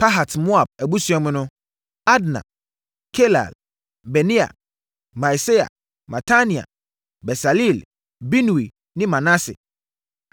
Pahat-Moab abusua mu no: Adna, Kelal, Benaia, Maaseia, Matania, Besaleel, Binui ne Manase.